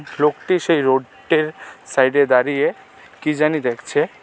লোকটি সেই রোডট্টের সাইডে দাঁড়িয়ে কি জানি দেখছে .